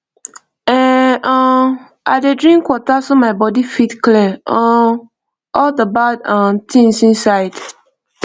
ehn um i dey drink water so my body fit clear um all the bad um things inside